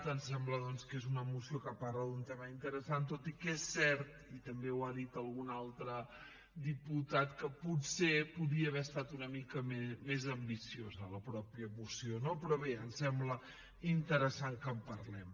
ens sembla doncs que és una moció que parla d’un tema interessant tot i que és cert i també ho ha dit algun altre diputat que potser podia haver estat una mica més ambiciosa la mateixa moció no però bé ens sembla interessant que en parlem